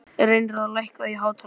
Reynarð, lækkaðu í hátalaranum.